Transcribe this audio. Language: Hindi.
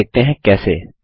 चलिए देखते हैं कैसे